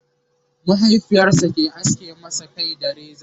mahaifiyarsa ke aske masa Kai da reza